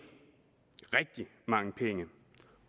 rigtig mange penge